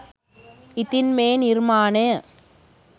ඉතින් මේ නිර්මාණය